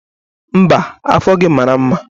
Mba, afọ gị mara mma.